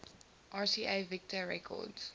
rca victor records